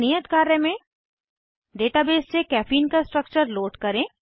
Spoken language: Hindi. एक नियत कार्य में डेटाबेस से कैफीन का स्ट्रक्चर लोड करें